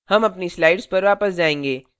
हम अपनी slides पर वापस जाएँगे